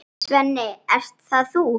Svenni, ert það þú!?